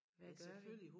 Hvad gør vi